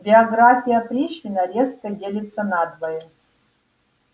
биография пришвина резко делится надвое